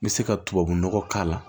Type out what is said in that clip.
N bɛ se ka tubabu nɔgɔ k'a la